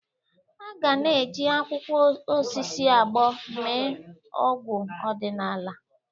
Aga na-eji akwụkwọ osisi agbọ́ mee ọgwụ ọdịnala.